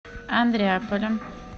андреаполя